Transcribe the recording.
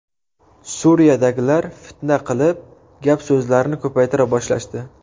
Suriyadagilar fitna qilib, gap-so‘zlarni ko‘paytira boshlashdi.